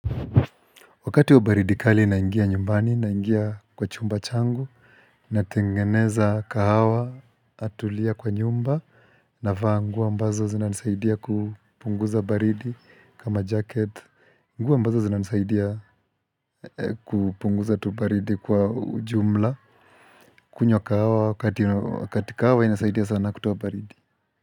Wakati wa baridi kali naingia nyumbani, naingia kwa chumba changu, natengeneza kahawa natulia kwa nyumba, navaa nguo ambazo zina nisaidia kupunguza baridi kama jacket, nguo ambazo zinanisaidia kupunguza tu baridi kwa ujumla, kunywa kahawa wakati kahawa inasaidia sana kutoa baridi.